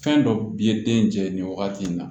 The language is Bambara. Fɛn dɔ bi ye den jɛ nin wagati in na